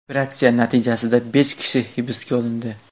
Operatsiya natijasida besh kishi hibs olindi.